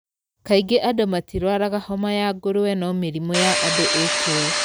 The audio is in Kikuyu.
Kaingĩ andũ matirwaraga homa ya ngũrwe no mĩrimũ ya andũ ĩkuo.